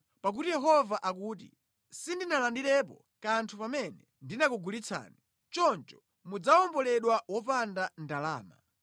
Pakuti Yehova akuti, “Sindinalandirepo kanthu pamene ndinakugulitsani, choncho mudzawomboledwa wopanda ndalama.”